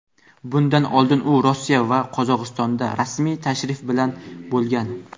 Bundan oldin u Rossiya va Qozog‘istonda rasmiy tashrif bilan bo‘lgan.